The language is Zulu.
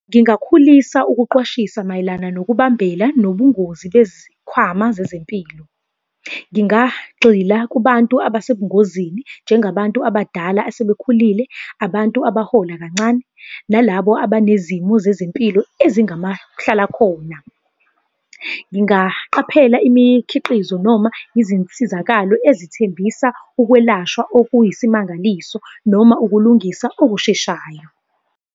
Ngingakhulisa ukuqwashisa mayelana nokubambela nobungozi bezikhwama zezempilo. Ngingagxila kubantu abesebungozini, njengabantu abadala asebekhulile, abantu abahola kancane, nalabo abanezimo zezempilo ezingamahlalakhona. Ngingaqaphela imikhiqizo noma izinsizakalo ezithembisa ukwelashwa okuyisimangaliso noma ukulungisa okusheshayo.